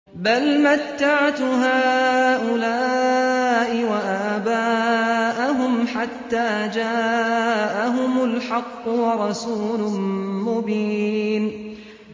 بَلْ مَتَّعْتُ هَٰؤُلَاءِ وَآبَاءَهُمْ حَتَّىٰ جَاءَهُمُ الْحَقُّ وَرَسُولٌ مُّبِينٌ